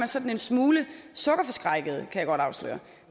sådan en smule sukkerforskrækket kan jeg godt afsløre